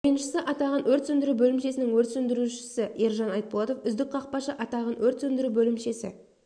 ойыншысы атағын өрт сөндіру бөлімшесінің өрт сөндірушісі ержан айтболатов үздік қақпашы атағын өрт сөндіру бөлімшесі